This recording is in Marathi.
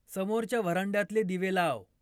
समोरच्या व्हरांड्यातले दिवे लाव